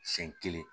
Siɲɛ kelen